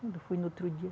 Quando foi no outro dia.